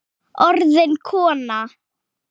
Orðin kona.